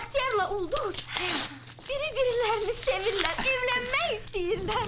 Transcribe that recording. Bəxtiyarla Ulduz biri-birilərini sevirlər, evlənmək istəyirlər.